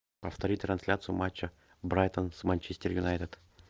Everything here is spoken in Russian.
повторить трансляцию матча брайтон с манчестер юнайтед